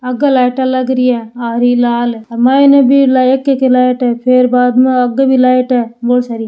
आगे लाइटा लाग री है हरी लाल माइने भी एक एक लाइट है फिर बाद मे आगे भी लाइट है बोली सारी।